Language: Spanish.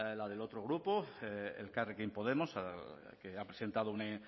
la del otro grupo elkarrekin podemos que ha presentado una